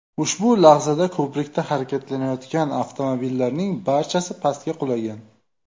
Ushbu lahzada ko‘prikda harakatlanayotgan avtomobillarning barchasi pastga qulagan.